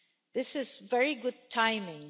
This is very good timing.